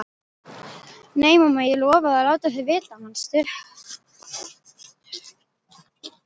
Nei, mamma, ég lofaði að láta þig vita, manstu?